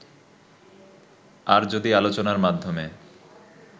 আর যদি আলোচনার মাধ্যমে